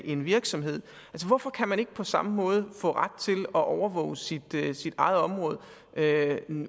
en virksomhed hvorfor kan man ikke på samme måde få ret til at overvåge sit eget område